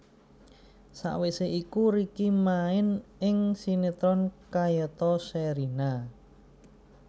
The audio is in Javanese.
Sawisé iku Ricky main ing sinetron kayata Sherina